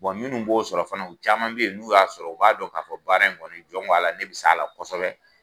Bon minnu b'o sɔrɔ fana, u caman bɛ yen , n'u y'a sɔrɔ , u b'a dɔn k'a fɔ baara in kɔniɔni jɔn ko Ala ne bɛ s'a la kosɛbɛ.